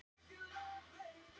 Orku til starfseminnar.